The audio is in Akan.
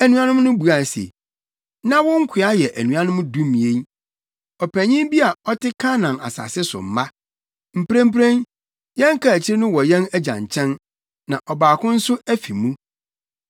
Anuanom no buae se, “Na wo nkoa yɛ anuanom dumien, ɔpanyin bi a ɔte Kanaan asase so mma. Mprempren, yɛn kaakyiri no wɔ yɛn agya nkyɛn, na ɔbaako nso afi mu.”